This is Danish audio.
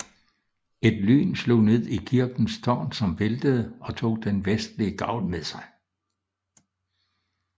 Et lyn slog ned i kirkens tårn som væltede og tog den vestlige gavl med sig